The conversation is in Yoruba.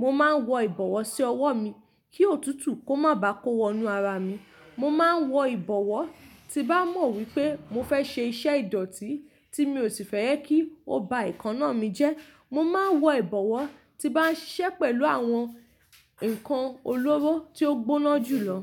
Mo máa ń wọ ìbọ̀wọ́ sí ọwọ́ mi kí òtútù kó má ba kó wọnú ara mi. Mo máa ń wọ ìbọ̀wọ́ tí n bá mọ̀ wípé mo fẹ́ ṣe iṣẹ́ ìdọ̀tí tí mi ò sì fẹ́ kí ó ba ekaná mi jẹ́. Mo máa ń wọ ìbọ̀wọ́ tí bá ń ṣiṣẹ́ pẹ̀lú àwọn ǹkan olóró tí ó gbóná jù lọ.